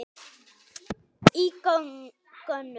í gönur.